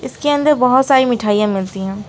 इसके अंदर बहोत सारी मिठाई मिलती है।